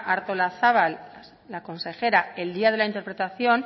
artolazabal la consejera el día de la interpelación